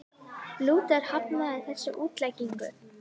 Lúther hafnaði þessari útleggingu.